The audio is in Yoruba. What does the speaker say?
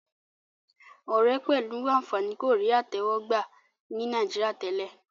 òré pẹlú ànfàní kò rí àtẹwò gbà ní Nàìjíríà tèlé